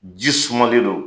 Ji sumalen don.